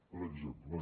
per exemple